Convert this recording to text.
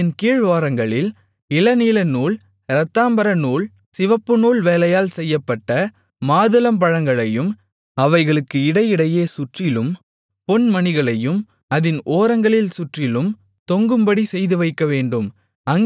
அதின் கீழ் ஓரங்களில் இளநீலநூல் இரத்தாம்பரநூல் சிவப்புநூல் வேலையால் செய்யப்பட்ட மாதுளம்பழங்களையும் அவைகளுக்கு இடையிடையே சுற்றிலும் பொன்மணிகளையும் அதின் ஓரங்களில் சுற்றிலும் தொங்கும்படி செய்துவைக்கவேண்டும்